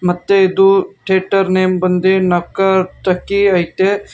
ಮತ್ತೆ ಇದು theatre name ಬಂದಿ ನಕ್ಕತಕಿ ಐತೆ.